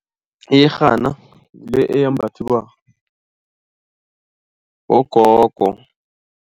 Iyerhana ngile eyembathwa bogogo.